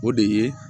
O de ye